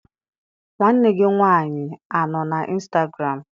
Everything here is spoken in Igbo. Nwanne gị nwanyị anọ na instagụram?